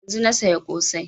Yanzun na saya ƙosai